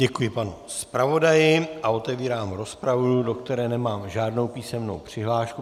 Děkuji panu zpravodaji a otevírám rozpravu, do které nemám žádnou písemnou přihlášku.